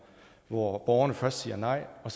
hvor borgerne først siger nej og